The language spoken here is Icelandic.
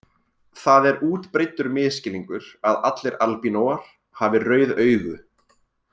Það er útbreiddur misskilningur að allir albínóar hafi rauð augu.